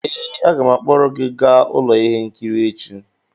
ee, aga m akpọrọ gị gaa ụlọ ihe nkiri echi